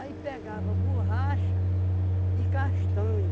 pegava borracha e castanha.